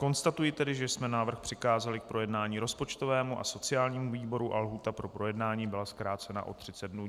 Konstatuji tedy, že jsme návrh přikázali k projednání rozpočtovému a sociálnímu výboru a lhůta pro projednání byla zkrácena o 30 dnů.